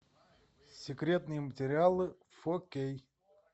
секретные материалы фо кей